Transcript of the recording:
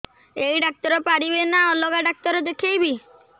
ଏଇ ଡ଼ାକ୍ତର ପାରିବେ ନା ଅଲଗା ଡ଼ାକ୍ତର ଦେଖେଇବି